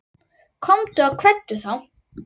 Komdu og kveddu þá.